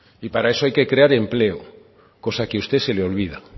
y para eso hay que crear empleo cosa que a usted se le olvida